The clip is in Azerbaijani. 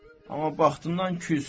Amma baxtından küs.